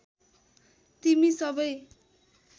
तिमी सबै